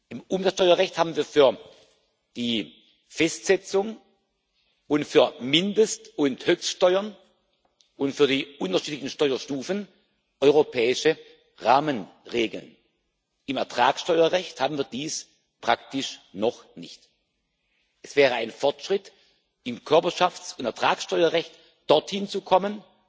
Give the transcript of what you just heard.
Im Umsatzsteuerrecht haben wir für die Festsetzung und für Mindest und Höchststeuern und für die unterschiedlichen Steuerstufen europäische Rahmenregeln, im Ertragssteuerrecht haben wird dies praktisch noch nicht. Es wäre ein Fortschritt, im Körperschafts und Ertragssteuerrecht dorthin zu kommen,